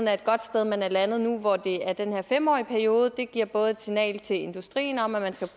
er et godt sted man er landet nu hvor det er den her fem årige periode det giver både et signal til industrien om at man skal